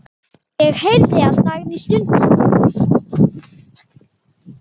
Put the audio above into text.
Ég heyrði að Dagný stundi.